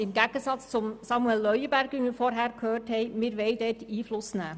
Im Gegensatz zu Grossrat Leuenberger, den wir zuvor hörten, wollen wir Einfluss nehmen.